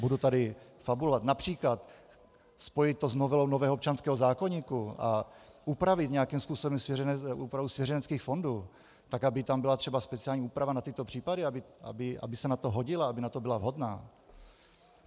Budu tady fabulovat: například spojit to s novelou nového občanského zákoníku a upravit nějakým způsobem úpravu svěřeneckých fondů tak, aby tam byla třeba speciální úprava na tyto případy, aby se na to hodila, aby na to byla vhodná.